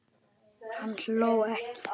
Hann hló ekki.